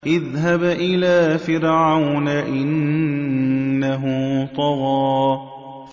اذْهَبْ إِلَىٰ فِرْعَوْنَ إِنَّهُ طَغَىٰ